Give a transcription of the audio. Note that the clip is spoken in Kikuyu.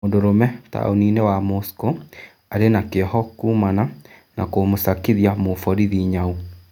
Mũndũrũme taũniinĩ wa Mũsko arĩ na kĩoho kuumana na kũmũcakithia mũborithi nyau.